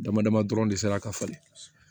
Dama dama dɔrɔn de sera ka falen